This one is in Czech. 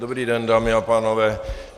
Dobrý den, dámy a pánové.